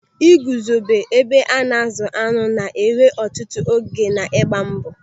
Ị guzobe ebe a na-azụ añụ na-ewe ọtụtụ oge na ịgba mbọ.